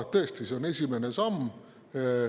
Tõesti, see on esimene samm.